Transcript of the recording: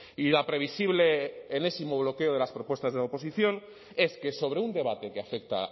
y la previsible enésimo bloqueo de las propuestas de la oposición es que sobre un debate que afecta a